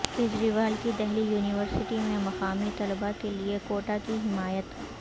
کیجریوال کی دہلی یونیورسٹی میں مقامی طلبہ کے لئے کوٹہ کی حمایت